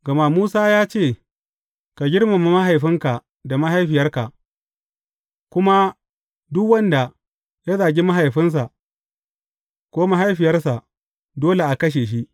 Gama Musa ya ce, Ka girmama mahaifinka da mahaifiyarka,’ kuma, Duk wanda ya zagi mahaifinsa ko mahaifiyarsa, dole a kashe shi.’